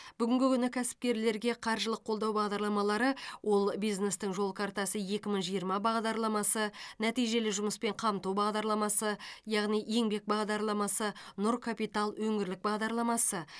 бүгінгі күні кәсіпкерлерге қаржылық қолдау бағдарламалары ол бизнестің жол картасы екі мың жиырма бағдарламасы нәтижелі жұмыспен қамту бағдарламасы яғни еңбек бағдарламасы нұр капитал өңірлік бағдарламасы